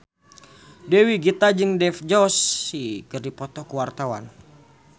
Dewi Gita jeung Dev Joshi keur dipoto ku wartawan